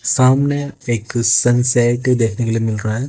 सामने एक सनसेट देखने के लिए मिल रहा--